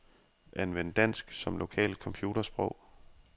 Anvend dansk som lokalt computersprog.